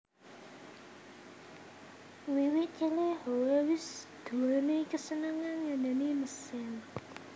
Wiwit cilik Howe wis duwéni kesenengan ngeneni mesin